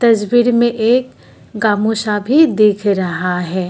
इस तस्वीर में एक गामूसाभी दिख रहा है।